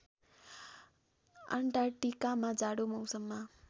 अन्टार्क्टिकामा जाडो मौसममा